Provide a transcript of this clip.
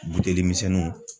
Buteli misɛnninw